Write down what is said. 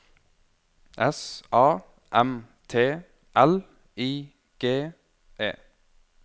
S A M T L I G E